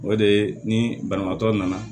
O de ye ni banabaatɔ nana